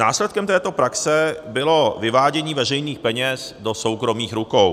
Následkem této praxe bylo vyvádění veřejných peněz do soukromých rukou.